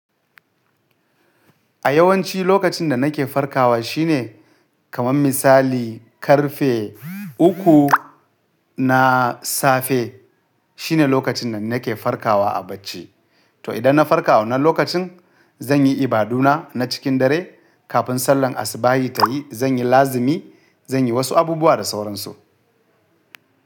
A yawanci lokacin da nake farkawa shine kaman misali ƙarfe uku na safe. Shine lokacin da nake farkawa a bacci. To idan na farka wannan lokacin zan yi ibaduna na cikin dare kafin sallan asubahi ta yi. Zan yi lazimi, zan yi wasu abubuwa da sauransu.